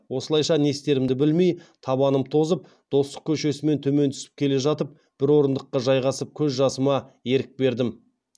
осылайша не істерімді білмей табанымнан тозып достық көшесімен төмен түсіп келе жатып бір орындыққа жайғасып көз жасыма ерік бердім